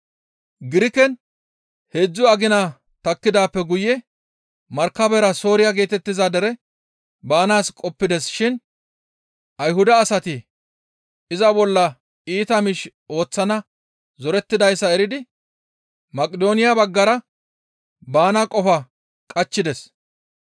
Giriken heedzdzu agina takkidaappe guye markabera Sooriya geetettiza dere baanaas qoppides shin Ayhuda asati iza bolla iita miish ooththana zorettidayssa eridi Maqidooniya baggara baana qofa qachchides.